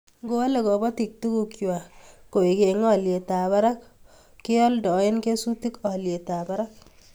Ngoale kobotik tuguk kwai koek eng olyetab barak keoldoe kesutik olyetab barak